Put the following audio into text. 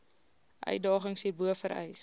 uitdagings hierbo vereis